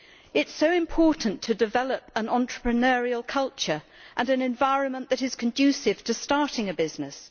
It is so important to develop an entrepreneurial culture and an environment that is conducive to starting a business.